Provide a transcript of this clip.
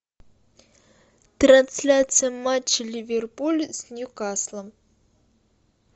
трансляция матча ливерпуль с ньюкаслом